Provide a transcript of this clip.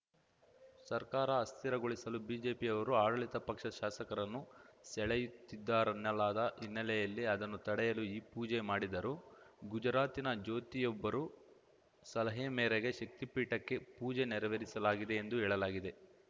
ಸರ್ಕಾರ ಅಸ್ಥಿರಗೊಳಿಸಲು ಬಿಜೆಪಿಯವರು ಆಡಳಿತ ಪಕ್ಷದ ಶಾಸಕರನ್ನು ಸೆಳೆಯುತ್ತಿದ್ದಾರೆನ್ನಲಾದ ಹಿನ್ನೆಲೆಯಲ್ಲಿ ಅದನ್ನು ತಡೆಯಲು ಈ ಪೂಜೆ ಮಾಡಿದರು ಗುಜರಾತಿನ ಜ್ಯೋತಿಯೊಬ್ಬರು ಸಲಹೆ ಮೇರೆಗೆ ಶಕ್ತಿಪೀಠಕ್ಕೆ ಪೂಜೆ ನೆರವೇರಿಸಲಾಗಿದೆ ಎಂದು ಹೇಳಲಾಗಿದೆ